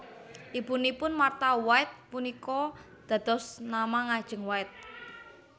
Ibunipun Martha White punika dados nama ngajeng White